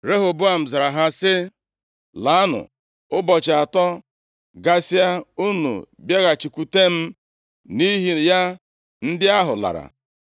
Rehoboam zara ha sị, “Laanụ, ụbọchị atọ gasịa unu bịaghachikwutenụ m.” Nʼihi ya ndị ahụ lara.